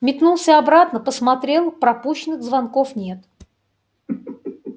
метнулся обратно посмотрел пропущенных звонков нет